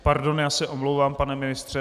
Pardon, já se omlouvám, pane ministře.